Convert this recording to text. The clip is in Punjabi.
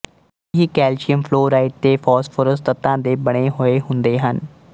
ਇਹ ਕੈਲਸ਼ੀਅਮ ਫਲੋਰਾਈਡ ਤੇ ਫ਼ਾਸਫ਼ੋਰਸ ਤੱਤਾਂ ਦੇ ਬੰਨੇ ਹੋਏ ਹੁੰਦੇ ਹਨ